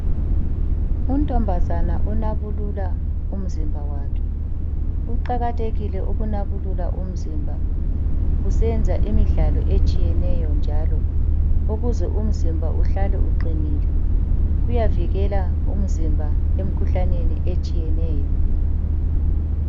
Untombazana onabulula umzimba wakhe. Kuqakathekile ukunabulula umzimba usenza imidlalo etshiyeneyo njalo ukuze umzimba uhlale uqinile. Kuyavikela umzimba emikhuhlaneni etshiyeneyo.